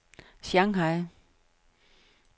Shanghai